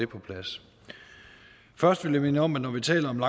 på plads først vil jeg minde om at når vi taler om